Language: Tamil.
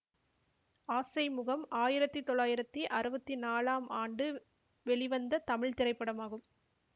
ஆசை முகம் ஆயிரத்தி தொள்ளாயிரத்தி அறுவத்தி நாலாம் ஆண்டு வெளிவந்த தமிழ் திரைப்படமாகும்